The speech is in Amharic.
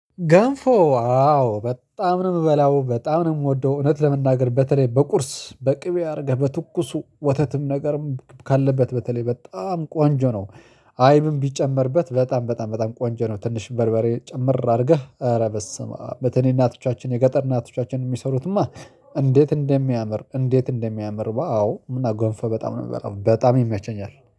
ገንፎ አዎ በጣም ነው የምበላው፣ በጣም ነው የምወደው እውነት ለመናገር። በተለይ በቁርስ፣ በቅቤ አድርገህ በትኩሱ፣ ወተትም ነገር ካለበት በተለይ በጣም ቆንጆ ነው። አይብም ቢጨመርበት በጣም በጣም በጣም ቆንጆ ነው። ትንሽ በርበሬ ጨምር አድርገህ፤ አሬ በስመአም፣ በትንሽ እናቶቻችን፣ የገጠር እናቶቻችን የሚሠሩትማ እንዴት እንደሚያምር እንዴት እንደሚያምር ዋው እና ገንፎ በጣም ነው የምበላው በጣም ይመቸኛል።